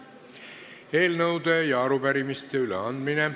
Eelnõude ja arupärimiste üleandmine.